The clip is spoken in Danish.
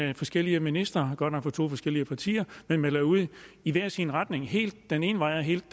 når forskellige ministre godt nok fra to forskellige partier melder ud i hver sin retning helt den ene vej og helt